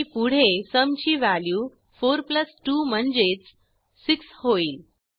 आणि पुढे सुम ची व्हॅल्यू 42 म्हणजे 6होईल